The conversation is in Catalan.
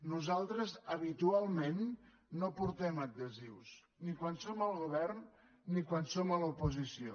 nosaltres habitualment no portem adhesius ni quan som al govern ni quan som a l’oposició